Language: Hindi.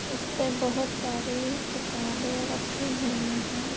इसपे बहोत सारे किताबे रखी हुई है।